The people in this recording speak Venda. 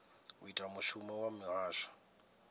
u ita mushumo wa muhasho